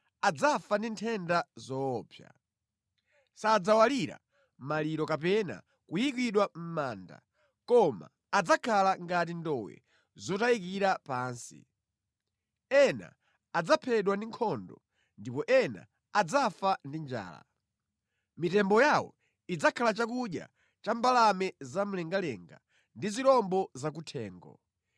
adzafa ndi nthenda zoopsa. Sadzawalira maliro kapena kuyikidwa mʼmanda koma adzakhala ngati ndowe zotayikira pansi. Ena adzaphedwa ku nkhondo ndipo ena adzafa ndi njala. Mitembo yawo idzakhala chakudya cha mbalame zamlengalenga ndi zirombo zakuthengo.”